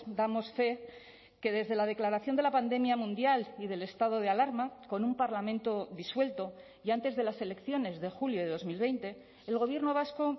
damos fe que desde la declaración de la pandemia mundial y del estado de alarma con un parlamento disuelto y antes de las elecciones de julio de dos mil veinte el gobierno vasco